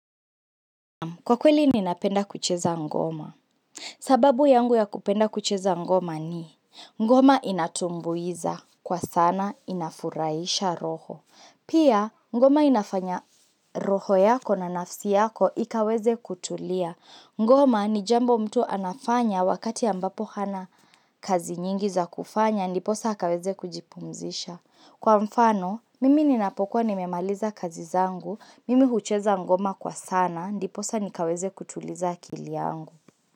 Kwa kweli ninapenda kucheza ngoma sababu yangu ya kupenda kucheza ngoma ni Ngoma inatumbuiza kwa sana inafurahisha roho Pia ngoma inafanya roho yako na nafsi yako Ikaweze kutulia Ngoma ni jambo mtu anafanya Wakati ambapo hana kazi nyingi za kufanya Ndiposa akaweze kujipumzisha Kwa mfano, mimi ninapokuwa nimemaliza kazi zangu Mimi hucheza ngoma kwa sana Ndiposa nikaweze kutuliza akili yangu.